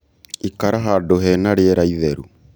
Ikara handũ hena rĩera itheru